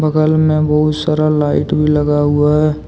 बगल में बहुत सारा लाइट भी लगा हुआ है।